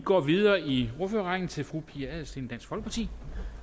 går videre i ordførerrækken til fru pia adelsteen dansk folkeparti